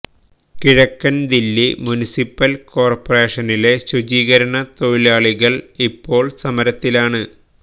കിഴക്കന് ദില്ലി മുനിസിപ്പല് കോര്പറേഷനിലെ ശുചീകരണ തൊഴിലാളികള് ഇപ്പോള് സമരത്തിലാണ്